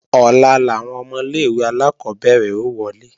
Ọ̀la làwọn ọmọ ilé-ìwé alákọ́bẹ̀rẹ̀ ó wọlé